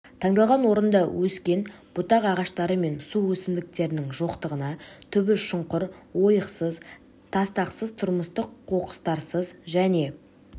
таңдалған орында өскен бұтақ ағаштары мен су өсімдіктерінің жоқтығына түбі шұңқыр ойықсыз тастақсыз тұрмыстық қоқыстарсыз және